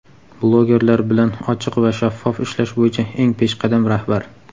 blogerlar bilan ochiq va shaffof ishlash bo‘yicha eng peshqadam rahbar.